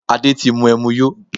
Adé ti mú ẹmu yó